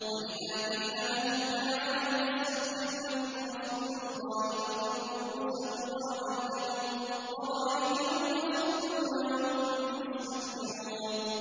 وَإِذَا قِيلَ لَهُمْ تَعَالَوْا يَسْتَغْفِرْ لَكُمْ رَسُولُ اللَّهِ لَوَّوْا رُءُوسَهُمْ وَرَأَيْتَهُمْ يَصُدُّونَ وَهُم مُّسْتَكْبِرُونَ